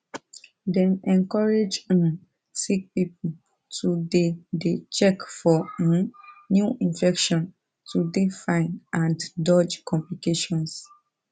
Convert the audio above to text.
dem encourage um sick pipo to dey dey check for um new infection to dey fine and dodge complications